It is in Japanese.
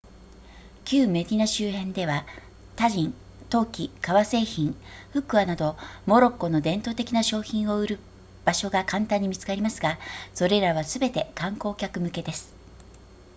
旧メディナ周辺ではタジン陶器革製品フックアなどモロッコの伝統的な商品を売る場所が簡単に見つかりますがそれらはすべて観光客向けです